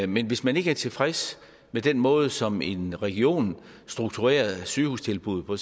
men hvis man ikke er tilfreds med den måde som en region strukturerer sygehustilbuddet på